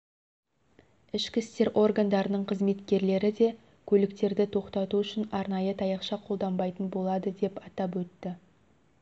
ішкі істер органдарының қызметкерлері де көліктерді тоқтату үшін арнайы таяқша қолданбайтын болады деп атап өтті